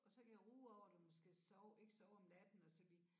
Og så kan jeg ruge over det måske sove ikke sove om natten og så lige